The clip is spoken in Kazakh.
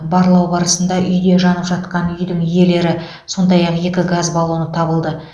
барлау барысында үйде жанып жатқан үйдің иелері сондай ақ екі газ баллоны табылды